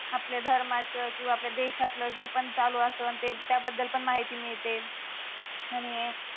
आपल्या धर्माच किव्हा आपल्या देशात्न जे पण चालू अस आणि त्या बद्दल माहिती मिळते आणि